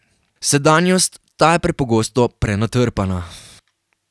Sedanjost, ta je preprosto prenatrpana.